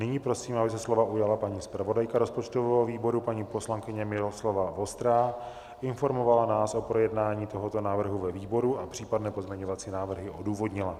Nyní prosím, aby se slova ujala paní zpravodajka rozpočtového výboru, paní poslankyně Miloslava Vostrá, informovala nás o projednání tohoto návrhu ve výboru a případné pozměňovací návrhy odůvodnila.